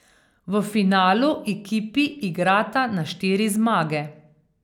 V finalu ekipi igrata na štiri zmage.